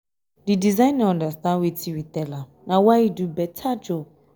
the designer understand wetin we tell am na why he do beta job